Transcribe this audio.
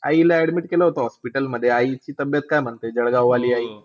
आई ला admit केलं होतं hospital मध्ये. आई ची तब्येत काय म्हणते? जळगाव वाली आई